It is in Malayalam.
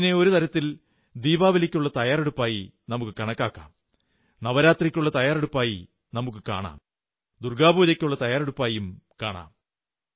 ഇതിനെ ഒരു തരത്തിൽ ദീപാവലിക്കുള്ള തയ്യാറെടുപ്പായി കണക്കാക്കാം നവരാത്രിക്കുള്ള തയ്യാറെടുപ്പായി കാണാം ദുർഗ്ഗാപൂജയ്ക്കുള്ള തയ്യാറെടുപ്പായി കാണാം